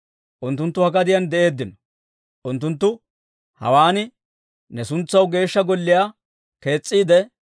Unttunttu ha gadiyaan de'eeddino; unttunttu hawaan ne suntsaw Geeshsha Golliyaa kees's'iide,